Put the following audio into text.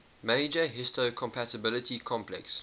major histocompatibility complex